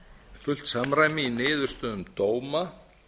fullt samræmi í niðurstöðum dóma